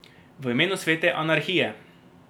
V imenu svete anarhije.